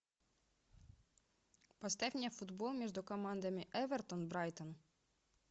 поставь мне футбол между командами эвертон брайтон